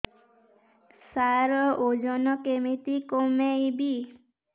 ସାର ଓଜନ କେମିତି କମେଇବି